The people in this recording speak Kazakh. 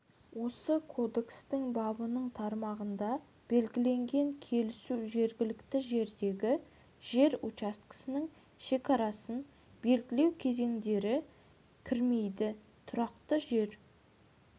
осы кодекстің бабының тармағында белгіленген келісу жергілікті жердегі жер учаскесінің шекарасын белгілеу кезеңдері кірмейді тұрақты жер